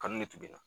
Kanu de tun bɛ na